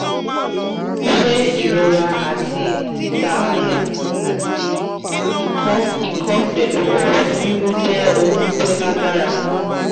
se irora ati tita aya ati iko iko pelu ofun wiwu je ohun ti o lagbara?